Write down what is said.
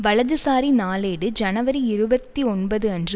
வலதுசாரி நாளேடு ஜனவரி இருபத்தி ஒன்பது அன்று